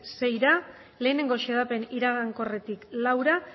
seira bat xedapen iragankorretik laura